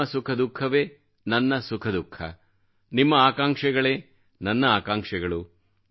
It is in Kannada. ನಿಮ್ಮ ಸುಖದುಃಖವೇ ನನ್ನ ಸುಖದುಃಖ ನಿಮ್ಮ ಆಕಾಂಕ್ಷೆಗಳೇ ನನ್ನ ಆಕಾಂಕ್ಷೆಗಳು